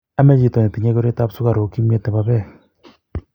amei chito ne tinyei koroitab sukaruk kimyet ne bo beek